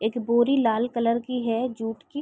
एक बोरी लाल कलर की है जूट की--